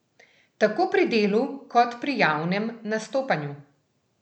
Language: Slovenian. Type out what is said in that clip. Tako pri delu kot pri javnem nastopanju.